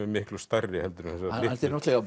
miklu stærri heldur en þessar litlu